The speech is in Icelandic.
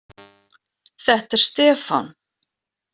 Þetta er Stefán.